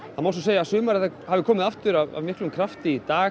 það má segja að sumarið hafi komið aftur af miklum krafti í dag